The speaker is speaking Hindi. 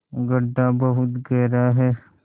गढ्ढा बहुत गहरा है